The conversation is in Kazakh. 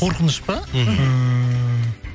қорқыныш па мхм ммм